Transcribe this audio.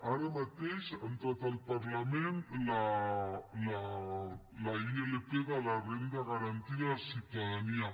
ara mateix ha entrat al parlament la ilp de la renda garantida de ciutadania